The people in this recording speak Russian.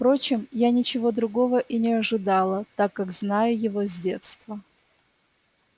впрочем я ничего другого и не ожидала так как знаю его с детства